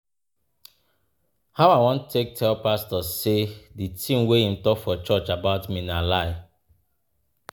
How I wan take tell pastor sey di tin wey im talk for church about me na lie?